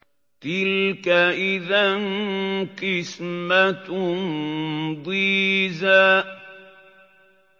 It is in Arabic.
تِلْكَ إِذًا قِسْمَةٌ ضِيزَىٰ